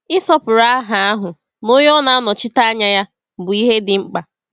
Ịsọpụrụ aha ahụ na Onye ọ na-anọchite anya ya bụ ihe dị mkpa.